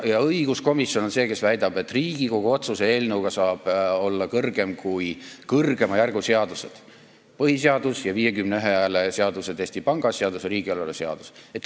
Õiguskomisjon nagu väidab, et Riigikogu otsuse eelnõu saab olla kõrgem kui kõrgema järgu seadused, põhiseadus ja muud vähemalt 51 poolthäält nõudvad seadused, praegu siis Eesti Panga seadus ja riigieelarve seadus.